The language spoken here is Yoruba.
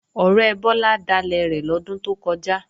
Ọ̀rẹ́ Bọ́lá dalẹ̀ rẹ̀ lọ́dún tó kọjá